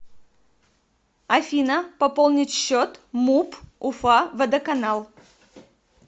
афина пополнить счет муп уфа водоканал